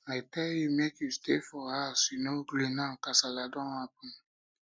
i tell you make you stay for house you no gree now kasala don happen